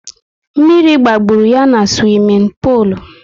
Mmiri gbagburu ya na swimin polu